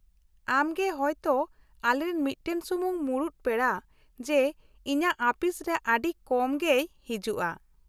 ᱟᱢ ᱜᱮ ᱦᱳᱭ ᱛᱚ ᱟᱞᱮᱨᱮᱱ ᱢᱤᱫᱴᱟᱝ ᱥᱩᱢᱩᱝ ᱢᱩᱲᱩᱛ ᱯᱮᱲᱟ ᱡᱮ ᱤᱧᱟᱹᱜ ᱟᱹᱯᱤᱥᱨᱮ ᱟᱹᱰᱤ ᱠᱚᱢ ᱜᱮᱭ ᱦᱤᱡᱩᱜᱼᱟ ᱾